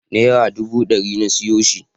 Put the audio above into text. Naira duba ɗari na siyo shi.